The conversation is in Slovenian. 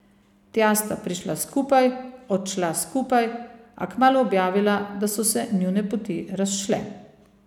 Tja sta prišla skupaj, odšla skupaj, a kmalu objavila, da so se njune poti razšle.